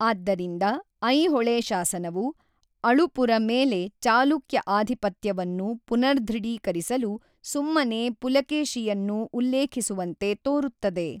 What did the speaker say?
ಆದ್ದರಿಂದ, ಐಹೊಳೆ ಶಾಸನವು, ಅಳುಪರ ಮೇಲೆ ಚಾಲುಕ್ಯ ಆಧಿಪತ್ಯವನ್ನು ಪುನರ್ದೃಢೀಕರಿಸಲು ಸುಮ್ಮನೇ ಪುಲಕೇಶಿಯನ್ನು ಉಲ್ಲೇಖಿಸುವಂತೆ ತೋರುತ್ತದೆ.